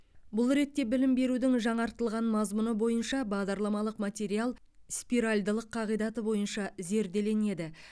бұл ретте білім берудің жаңартылған мазмұны бойынша бағдарламалық материал спиральдылық қағидаты бойынша зерделенеді